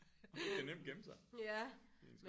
Han kan nemt gemme sig